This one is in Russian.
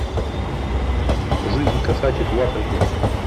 жизнь кошачьих в африке